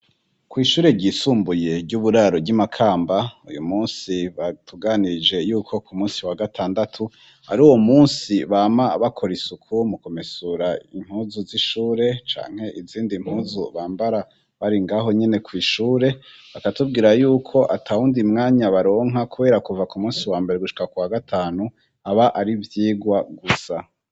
Kw'ishure ryisumbuye ry'uburaro ry'i Makamba uyu munsi batuganirije yuko ku munsi wa gatandatu ari uwo munsi bama bakora isuku mu kumesura impuzu z'ishure canke izindi mpuzu bambara bari ngaho nyene kw'ishure bakatubwira yuko ata wundi mwanya baronka kubera kuva ku munsi wa mbere gushika kuwa gatanu aba ari ivyigwa gusa.